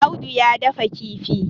Audu ya dafa kifi